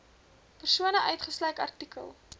persone uitgesluit artikel